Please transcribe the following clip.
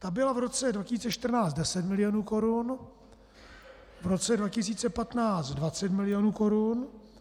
Ta byla v roce 2014 10 milionů korun, v roce 2015 20 milionů korun.